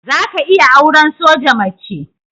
Za ka iya auran soja mace?